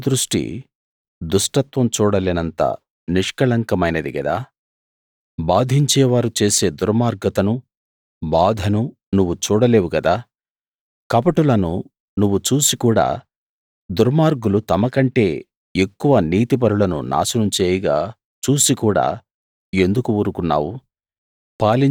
నీ కనుదృష్టి దుష్టత్వం చూడలేనంత నిష్కళంకమైనది గదా బాధించేవారు చేసే దుర్మార్గతను బాధను నువ్వు చూడలేవు గదా కపటులను నువ్వు చూసి కూడా దుర్మార్గులు తమ కంటే ఎక్కువ నీతిపరులను నాశనం చేయగా చూసి కూడా ఎందుకు ఊరుకున్నావు